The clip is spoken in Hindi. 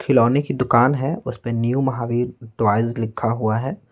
खिलौने की दुकान है उस पे न्यू महावीर टॉयज लिखा हुआ है।